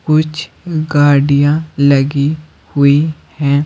कुछ गाड़ियां लगी हुई हैं।